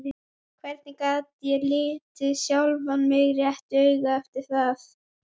En oftast er það nagandi samviskan sem þolir ekki meir.